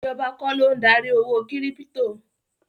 Ìjọba kọ́ ló ń darí owó kírípítò.